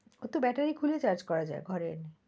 ওর তো battery খুলে charge করা যায় ঘরে এনে,